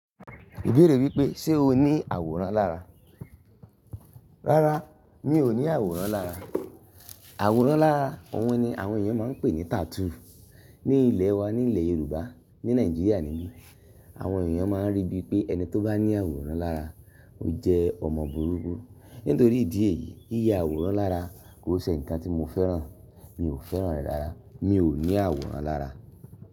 Ibèèrè wípé, ṣe o ní àwòrán lára? Rárá, mi ò ní àwòrán lára. Àwòrán lára, òun ni àwọn èèyàn máa ń pè ní tattoo. Ni ilẹ̀ wa, ni ilẹ̀ Yorùbá, ni Nàìjíríà nìbí, àwọn èèyàn máa ń rí bíi pé ẹni tó bá ní àwòrán lára, ó jẹ́ ọmọ burúkú. Nítorí ìdí èyí, yíya àwòrán lára kò ṣe nǹkan tí mo fẹ́ràn. Mi ò fẹ́ràn rẹ̀ rárá. Mi ò ní àwòrán lára.